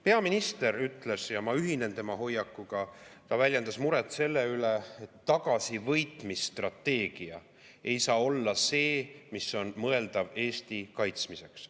Peaminister väljendas muret – ja ma ühinen tema hoiakuga – selle pärast, et tagasivõitmise strateegia ei saa olla see, mis on mõeldav Eesti kaitsmiseks.